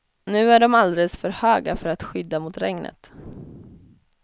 Nu är de alldeles för höga för att skydda mot regnet.